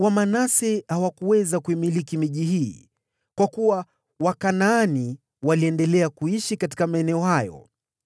Lakini Wamanase hawakuweza kuimiliki miji hii, kwa kuwa Wakanaani walikazana kuishi katika maeneo hayo.